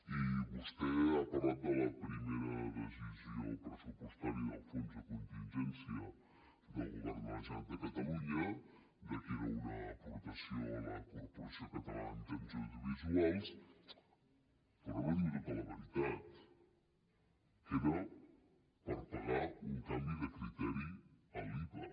i vostè ha parlat de la primera decisió pressupostària del fons de contingència del govern de la generalitat de catalunya que era una aportació a la corporació catalana de mitjans audiovisuals però no diu tota la veritat que era per pagar un canvi de criteri a l’iva